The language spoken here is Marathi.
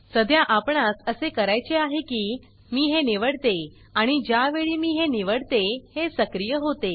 सध्या आपणास असे करायचे आहे की मी हे निवडते आणि ज्या वेळी मी हे निवडतेहे सक्रिय होते